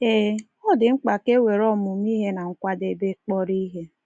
Ee, ọ dị mkpa ka i were ọmụmụ ihe na nkwadebe kpọrọ ihe.